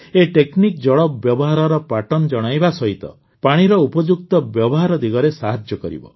ଏହି ଟେକନିକ୍ ଜଳ ବ୍ୟବହାରର ପ୍ୟାଟର୍ନସ୍ ଜଣାଇବା ସହିତ ପାଣିର ଉପଯୁକ୍ତ ବ୍ୟବହାର ଦିଗରେ ସାହାଯ୍ୟ କରିବ